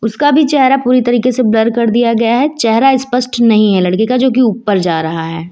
उसका भी चेहरा पूरी तरीके से ब्लर कर दिया गया है चेहरा स्पष्ट नहीं है लड़के का जो कि ऊपर जा रहा है।